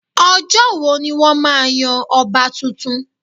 Ọjọ́ wo ni wọ́n máa yan ọba tuntun